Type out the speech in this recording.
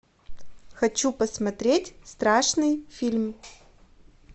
хочу посмотреть страшный фильм